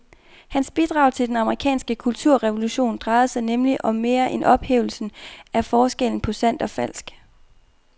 Hans bidrag til den amerikanske kulturrevolution drejede sig nemlig om mere end ophævelsen af forskellen på sandt og falsk.